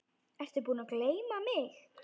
Ertu búinn að gleyma mig?